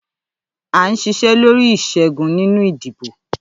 À ń ṣiṣẹ́ lórí ìṣẹ́gun nínú ìdìbò.